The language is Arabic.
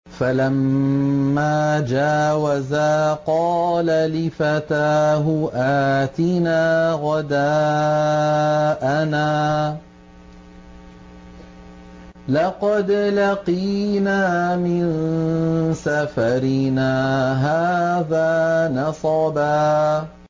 فَلَمَّا جَاوَزَا قَالَ لِفَتَاهُ آتِنَا غَدَاءَنَا لَقَدْ لَقِينَا مِن سَفَرِنَا هَٰذَا نَصَبًا